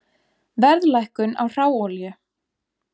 Verðlækkun á hráolíu